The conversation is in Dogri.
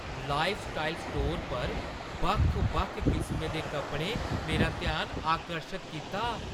लाइफस्टाइल स्टोर पर बक्ख-बक्ख किसमें दे कपड़ें मेरा ध्यान आकर्शत कीता!